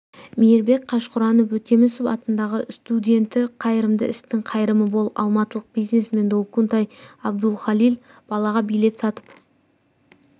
мейірбек қажқұранов өтемісов атындағы студенті қайырымды істің қайырымы мол алматылық бизнесмен долкунтай абдулхалил балаға билет сатып